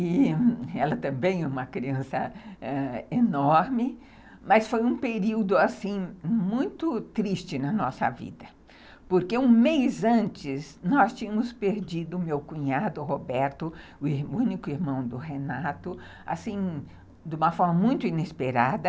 Ela também é uma criança enorme, mas foi um período muito triste na nossa vida, porque um mês antes nós tínhamos perdido o meu cunhado Roberto, o único irmão do Renato, de uma forma muito inesperada.